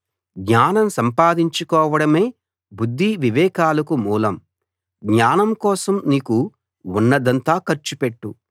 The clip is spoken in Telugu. జ్ఞానం సంపాదించుకోవడమే బుద్ధి వివేకాలకు మూలం జ్ఞానం కోసం నీకు ఉన్నదంతా ఖర్చు పెట్టు